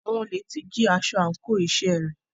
Àwọn olè ti jí aṣọ àńkò iṣẹ́ rẹ̀.